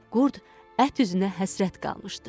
Qurd ət üzünə həsrət qalmışdı.